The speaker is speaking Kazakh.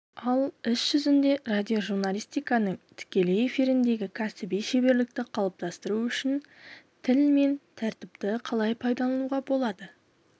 ал іс жүзінде радиожурналистиканың тікелей эфиріндегі кәсіби шеберлікті қалыптастыру үшін тіл мен тәртіпті қалай пайдалануға болады